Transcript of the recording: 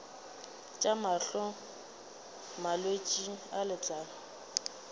tša mahlo malwetse a letlalo